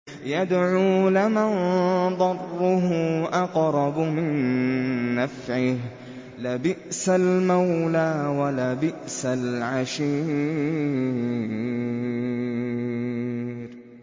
يَدْعُو لَمَن ضَرُّهُ أَقْرَبُ مِن نَّفْعِهِ ۚ لَبِئْسَ الْمَوْلَىٰ وَلَبِئْسَ الْعَشِيرُ